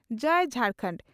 ᱡᱟᱹᱭ Jharkhand.